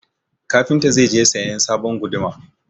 Kafinta zai je sayan sabon guduma.